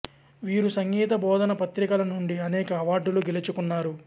వీరు సంగీత బోధన పత్రికల నుండి అనేక అవార్డులు గెలుచుకున్నారు